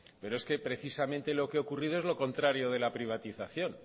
pero es que precisamente lo que ha ocurrido es lo contrario de la privatización